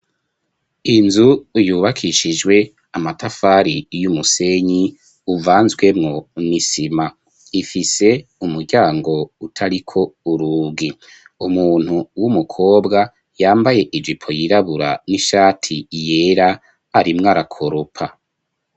Inzu yubakishijwe amatafari y'umusenyi uvanzwemu n'isima ifise umuryango utariko urugi umuntu w'umukobwa yambaye ijipo yirabura n'ishati yera arimwo arakoropa.